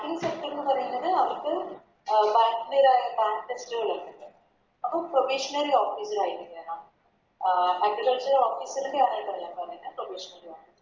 Free sector പറയണത് അവർക്ക് അഹ് അപ്പൊ Professional officer ആയിട്ട് കേറാം അഹ്